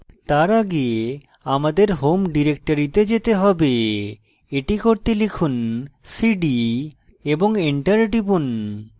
তার আগে আমাদের home ডিরেক্টরিতে যেতে হবে এটি করতে লিখুন cd এবং enter টিপুন